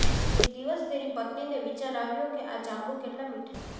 એક દિવસ તેની પત્નીને વિચાર આવ્યો કે આ જાંબુ કેટલા મીઠા છે